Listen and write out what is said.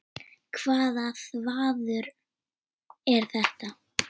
Hvaða þvaður er þetta?